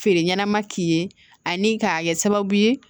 Feere ɲɛnama k'i ye ani k'a kɛ sababu ye